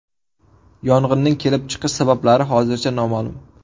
Yong‘inning kelib chiqish sabablari hozircha noma’lum.